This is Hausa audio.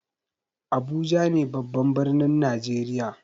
Abuja ne babban birnin najeriya.